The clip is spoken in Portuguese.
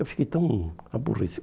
Eu fiquei tão